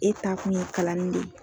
E taakun ye kalanni de